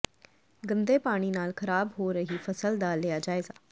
ਗੰਦੇ ਪਾਣੀ ਨਾਲ ਖ਼ਰਾਬ ਹੋ ਰਹੀ ਫਸਲ ਦਾ ਲਿਆ ਜਾਇਜ਼ਾ